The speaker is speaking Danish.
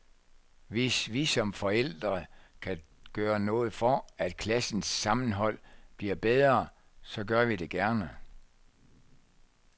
Hvis vi som forældre kan gøre noget for, at klassens sammenhold bliver bedre, så gør vi det gerne.